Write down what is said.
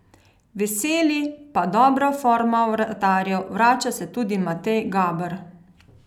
Veseli pa dobra forma vratarjev, vrača se tudi Matej Gaber.